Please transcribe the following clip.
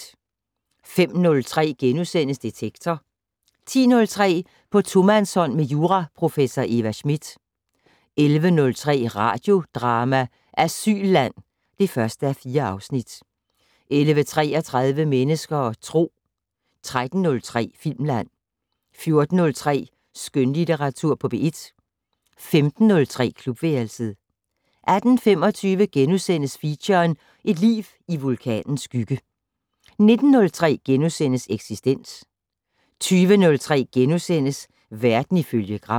05:03: Detektor * 10:03: På tomandshånd med juraprofessor Eva Smith 11:03: Radiodrama: Asylland (1:4) 11:33: Mennesker og Tro 13:03: Filmland 14:03: Skønlitteratur på P1 15:03: Klubværelset 18:25: Feature: Et liv i vulkanens skygge * 19:03: Eksistens * 20:03: Verden ifølge Gram *